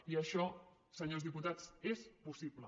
i això senyors diputats és possible